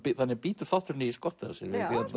þannig bítur þátturinn í skottið á sér